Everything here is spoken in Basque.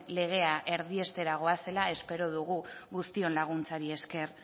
legea erdiestera goazela espero dugu guztion laguntzari esker